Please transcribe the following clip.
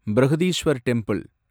Brihadeeswarar temple